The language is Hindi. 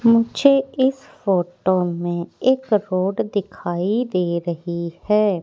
मुझे इस फोटो में एक रोड दिखाई दे रही है।